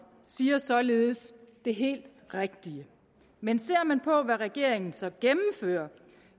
siger således det helt rigtige men ser man på hvad regeringen så gennemfører